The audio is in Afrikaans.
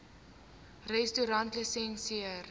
restaurantlisensier